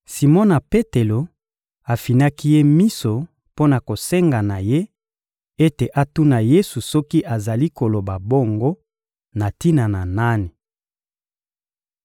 Simona Petelo afinaki ye miso mpo na kosenga na ye ete atuna Yesu soki azali koloba bongo na tina na nani.